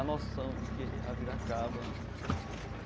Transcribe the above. A noção de que a vida acaba.